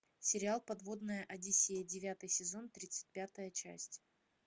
сериал подводная одиссея девятый сезон тридцать пятая часть